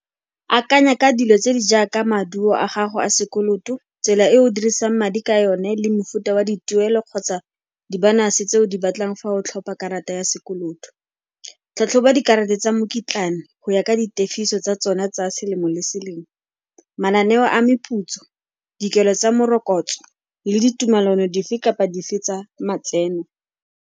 Akanya ka dilo tse di jaaka maduo a gago a sekoloto, tsela e o dirisang madi ka yone le mofuta wa dituelo kgotsa di-bonus-e tse o di batlang fa o tlhopha karata ya sekoloto. Tlhatlhoba dikarata tsa mokitlane go ya ka ditefiso tsa tsona tsa selemo le selemo, mananeo a meputso, dikelo tsa morokotso le ditumalano dife kapa dife tsa matseno.